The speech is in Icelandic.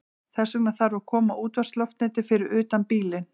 Þess vegna þarf að koma útvarpsloftneti fyrir utan bílinn.